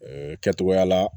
kɛtogoya la